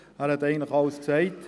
Er hat eigentlich alles gesagt.